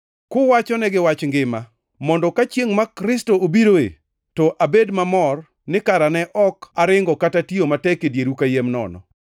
kuwachonegi wach Ngima, mondo ka chiengʼ ma Kristo obiroe, to abed mamor ni kara ne ok aringo kata tiyo matek e dieru kayiem nono.